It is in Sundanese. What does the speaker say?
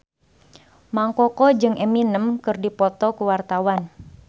Mang Koko jeung Eminem keur dipoto ku wartawan